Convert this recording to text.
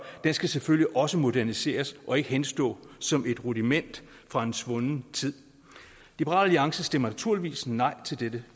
den skal selvfølgelig også moderniseres og ikke henstå som et rudiment fra en svunden tid liberal alliance stemmer naturligvis nej til dette